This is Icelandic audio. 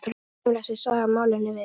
Hvað kemur þessi saga málinu við?